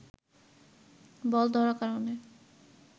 বল ধরার কারণে